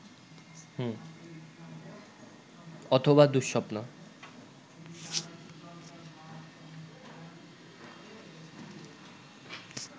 অথবা দু:স্বপ্ন